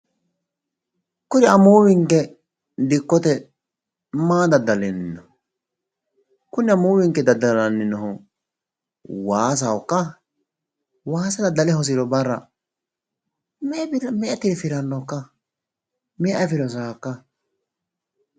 Kuri amuwinke dikkote maa daddalinno? Kuri amuwinke daddalanni noohu waasahokka? Waasa daddale hosiro barra me"e birra tirfirannokka? Me"e afire hosawokka?